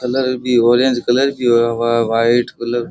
colour भी orange colour हुवा वा वा व्हाइट कलर --